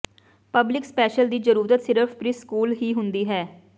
public special ਦੀ ਜ਼ਰੂਰਤ ਸਿਰਫ ਪ੍ਰੀਸਕੂਲ ਹੀ ਹੁੰਦੀ ਹੈ